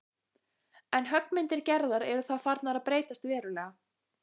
En höggmyndir Gerðar eru þá farnar að breytast verulega.